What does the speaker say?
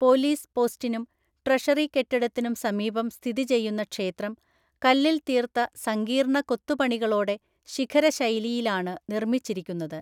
Police പോസ്റ്റിനും treasury കെട്ടിടത്തിനും സമീപം സ്ഥിതി ചെയ്യുന്ന ക്ഷേത്രം, കല്ലിൽ തീർത്ത സങ്കീർണ കൊത്തുപണികളോടെ ശിഖര ശൈലിയിലാണ് നിർമ്മിച്ചിരിക്കുന്നത്.